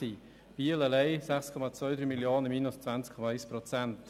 In Biel allein sind es 6,23 Mio. Franken abzüglich 20,1 Prozent.